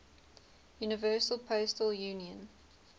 universal postal union